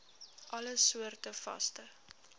alle soorte vaste